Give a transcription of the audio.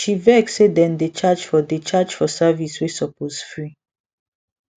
she vex say dem dey charge for dey charge for service wey suppose free